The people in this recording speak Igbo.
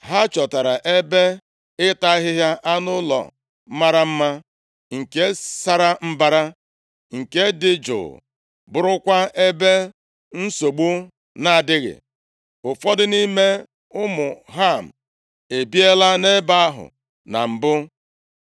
Ha chọtara ebe ịta ahịhịa anụ ụlọ mara mma, nke sara mbara, nke dị jụụ, bụrụkwa ebe nsogbu na-adịghị. Ụfọdụ nʼime ụmụ Ham ebiela nʼebe ahụ na mbụ.